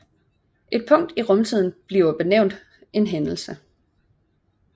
Et punkt i rumtiden bliver benævnt en hændelse